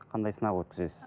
қандай сынақ өткізесіз